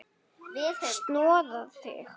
Snoða þig?